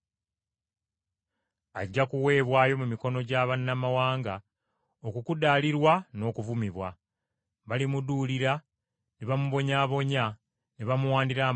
Ajja kuweebwayo eri Abamawanga okukudaalirwa n’okuvumibwa. Balimuduulira, ne bamubonyaabonya, ne bamuwandira amalusu,